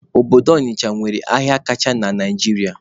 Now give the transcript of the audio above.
Obodo Ọnịcha nwere ahịa kacha na Naijiria